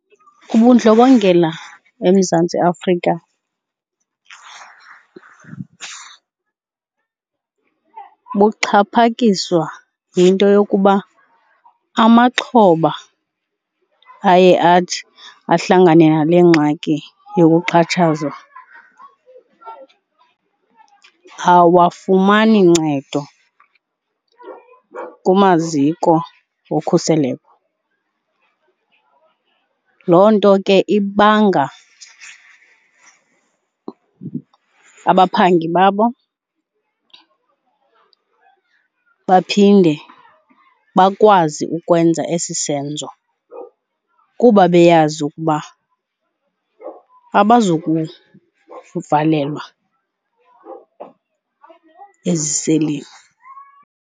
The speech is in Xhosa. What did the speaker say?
Ubundlobongela eMzantsi Afrika buxhaphakiswa yinto yokuba amaxhoba aye athi ahlangane nale ngxaki yokuxhatshazwa awafumani ncedo kumaziko wokhuseleko. Loo nto ke ibanga abaphangi babo baphinde bakwazi ukwenza esi senzo kuba beyazi ukuba abazukuvalelwa eziseleni.